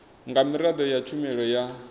nga miraḓo ya tshumelo ya